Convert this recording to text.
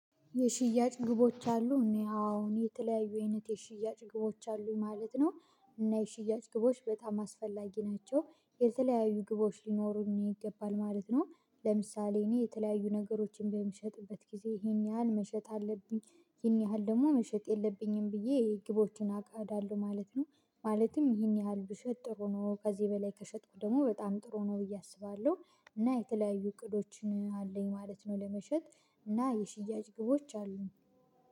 የሽያጭ ግቦች አሉ እኔ አዎን የተለያዩ አይነት የሽያጭ ግቦች አሉኝ ማለት ነው። እና የሽያጭ ግቦች በጣም አስፈላጊ ናቸው የተለያዩ ግቦች ሊኖሩኝ ይገባል ማለት ነው። ለምሳሌ እኔ የተለያዩ ነገሮችን በምሸጥበት ጊዜ ይሄን ያህል መሸጥ አለብኝ። ይሄን ያህል ደግሞ መሸጥ የለብኝም ብዬ ግቦችን አቅዳለሁ ማለት ነው። ማለትም ይሄን ያህል ብሸጥ ጥሩ ነው ከዚህ በላይ ከሸጥኩ ደግሞ በጣም ጥሩ ነው ብዬ አስባለሁ። እና የተለያዩ እቅዶችን አለኝ ማለት ነው ለመሸጥ እና የሽያጭ ግቦች አሉኝ